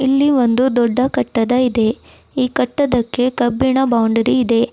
ಇಲ್ಲಿ ಒಂದು ದೊಡ್ಡ ಕಟ್ಟಡ ಇದೆ ಕಟ್ಟಡಕ್ಕೆ ಕಬ್ಬಿಣದ ಬೌಂಡರಿ ಇದೆ.